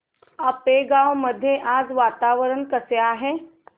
आपेगाव मध्ये आज वातावरण कसे आहे